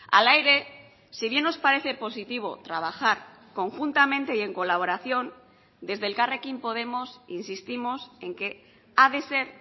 hala ere si bien nos parece positivo trabajar conjuntamente y en colaboración desde elkarrekin podemos insistimos en que ha de ser